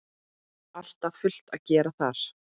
Alltaf fullt að gera þar!